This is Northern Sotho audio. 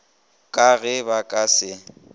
ka ge ba ka se